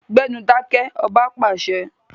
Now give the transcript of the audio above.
Gbẹ́nu dákẹ́! Ọba pàṣẹ.